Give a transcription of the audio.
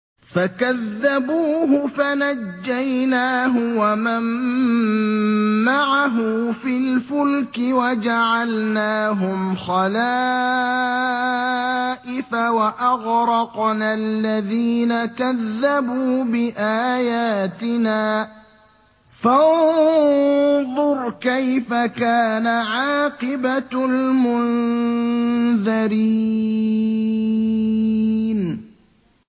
فَكَذَّبُوهُ فَنَجَّيْنَاهُ وَمَن مَّعَهُ فِي الْفُلْكِ وَجَعَلْنَاهُمْ خَلَائِفَ وَأَغْرَقْنَا الَّذِينَ كَذَّبُوا بِآيَاتِنَا ۖ فَانظُرْ كَيْفَ كَانَ عَاقِبَةُ الْمُنذَرِينَ